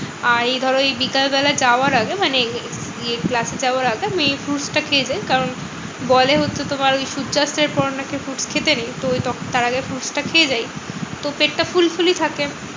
আর এই ধরো এই বিকেলবেলা যাওয়ার আগে মানে গিয়ে class এ যাওয়ার আগে আমি এই fruits টা খেয়ে যাই। কারণ বলে হচ্ছে তোমার ওই সূর্যাস্তের পর নাকি fruits খেতে নেই। তো তার আগে fruits টা খেয়ে যাই। তো পেটটা full fully থাকে।